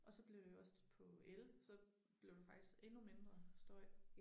Og så blev det også på el så blev det faktisk endnu mindre støj